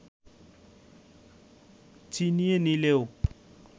ছিনিয়ে নিলেও